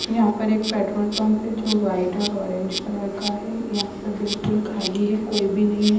यहां पर एक पेट्रोल पंप पर जो वाइट और ऑरेंज कलर का है यहां पे बिल्कुल खाली है कोई भी नहीं है।